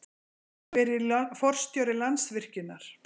Hver er forstjóri Landsvirkjunar?